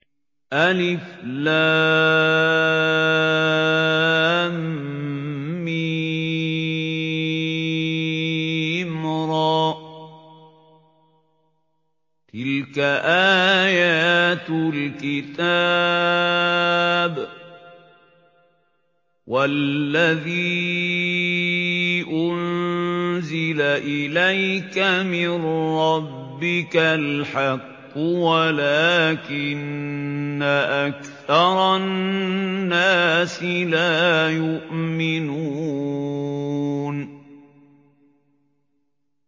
المر ۚ تِلْكَ آيَاتُ الْكِتَابِ ۗ وَالَّذِي أُنزِلَ إِلَيْكَ مِن رَّبِّكَ الْحَقُّ وَلَٰكِنَّ أَكْثَرَ النَّاسِ لَا يُؤْمِنُونَ